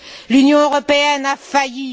L'Union européenne a failli.